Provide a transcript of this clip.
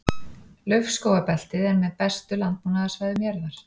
Laufskógabeltið er með bestu landbúnaðarsvæðum jarðar.